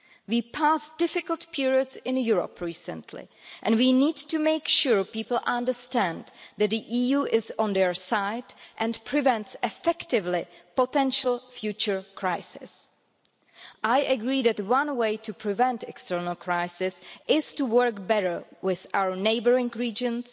We have passed through difficult periods in Europe recently and we need to make sure people understand that the EU is on their side and prevents effectively potential future crises. I agree that one way to prevent external crises is to work better with our neighbouring regions,